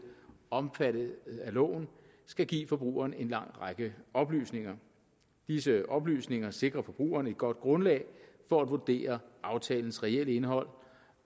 omfattet af loven skal give forbrugeren en lang række oplysninger disse oplysninger sikrer forbrugerne et godt grundlag for at vurdere aftalens reelle indhold